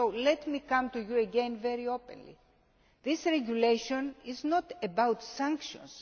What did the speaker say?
So let me come to you again very openly this regulation is not about sanctions.